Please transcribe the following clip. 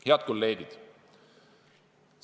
Head kolleegid!